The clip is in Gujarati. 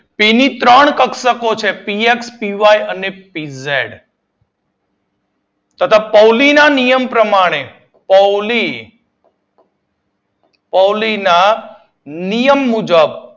પી ની ત્રણ કક્ષકો છે પી એફ પીવાય અને પીઝેડ અને તેમજ પૌલી ના નિયમ પ્રમાણે પૌલી પૌલી ના નિયમ મુજબ